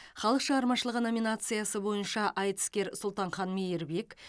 халық шығармашылығы номинациясы бойынша айтыскер сұлтанхан мейірбек